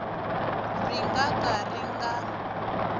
ri nga ka ri nga